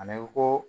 Ani ko